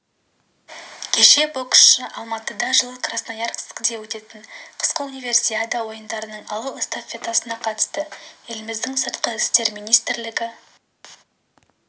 кеше боксшы алматыда жылы красноярскіде өтетін қысқы универсиада ойындарының алау эстафетасына қатысты еліміздің сыртқы істер министрлігі